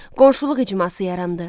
Qonşuluq icması yarandı.